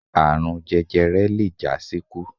Àrun jẹjẹrẹ le jásíkú.